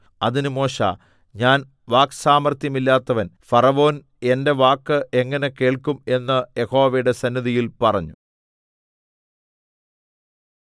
അതിന് മോശെ ഞാൻ വാക്സാമർത്ഥ്യമില്ലാത്തവൻ ഫറവോൻ എന്റെ വാക്ക് എങ്ങനെ കേൾക്കും എന്ന് യഹോവയുടെ സന്നിധിയിൽ പറഞ്ഞു